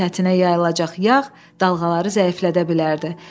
Dənizin səthinə yayılacaq yağ dalğaları zəiflədə bilərdi.